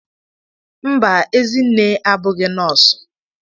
Mba Ezinne abụghị nọosu.